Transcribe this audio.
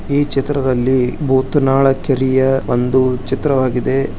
ಈ ಚಿತ್ರದಲ್ಲಿ ಭೂತನಾಳ ಕೆರೆಯ ಒಂದು ಚಿತ್ರವಾಗಿದೆ.